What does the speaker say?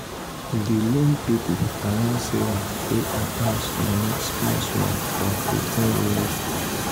di loan people allow sarah pay her house money small small for 15 years.